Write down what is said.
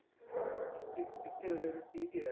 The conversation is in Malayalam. ട്വി~ ട്വിറ്ററിലൊരു tweet ചെയ്താരുന്നു